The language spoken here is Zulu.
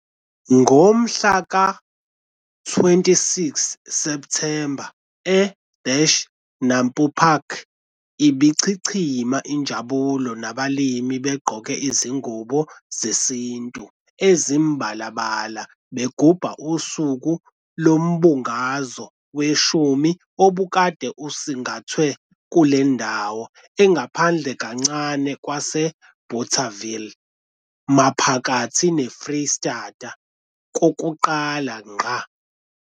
Ngomhla ka-26th Septhemba e-NAMPO Park ibichichima injabulo nabalimi begqoke izingubo zesintu ezimibalabala begubha uSuku loMbungazo weshumi obekade osingathwe kule ndawo engaphandle kancane kwaseBothaville maphakathi neFreystata kokuqala ngqa.